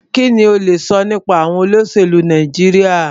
Kínní o lè sọ nípa àwọn olóṣèlú Nàìjíríà?